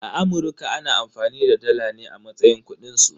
Amurka na amfani da dala ne a matsayin kudin su.